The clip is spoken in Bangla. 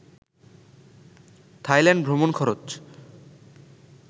থাইল্যান্ড ভ্রমন খরচ